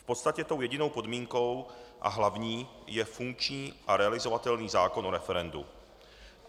V podstatě tou jedinou podmínkou a hlavní je funkční a realizovatelný zákon o referendu.